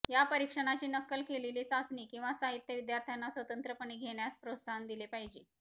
या परीक्षणाची नक्कल केलेली चाचणी किंवा साहित्य विद्यार्थ्यांना स्वतंत्रपणे घेण्यास प्रोत्साहन दिले पाहिजे